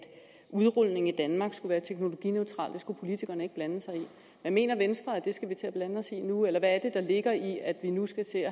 udrulningen i danmark skulle være teknologineutral det skulle politikerne ikke blande sig i men mener venstre at det skal vi til at blande os i nu eller hvad er det der ligger i at vi nu skal til